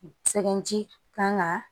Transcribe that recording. Sɛŋɛnji kan ka